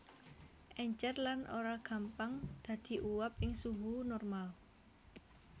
Èncèr lan ora gampang dadi uap ing suhu normal